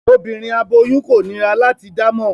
Obinrin aboyun ko nira lati damọ